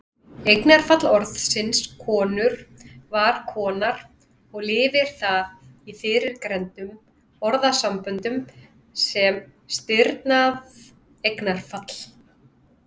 Eignarfall orðsins konur var konar og lifir það í fyrrgreindum orðasamböndum sem stirðnað eignarfall.